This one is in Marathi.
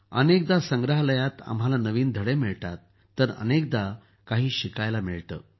अनेकदा संग्रहालयात आम्हाला नवीन धडे मिळतात तर अनेकदा काही शिकायला मिळतं